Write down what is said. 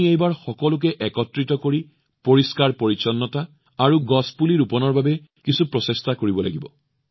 আপোনালোকে এইবাৰ সকলোকে একত্ৰিত কৰি পৰিষ্কাৰপৰিচ্ছন্নতা আৰু গছপুলি ৰোপণৰ বাবে কিছু প্ৰচেষ্টা কৰিব